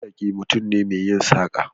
Masaki mutum ne mai yin saƙa.